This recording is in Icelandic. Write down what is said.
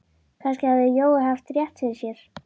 Kannski hafði Jói haft rétt fyrir sér.